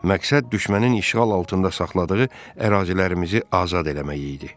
Məqsəd düşmənin işğal altında saxladığı ərazilərimizi azad eləmək idi.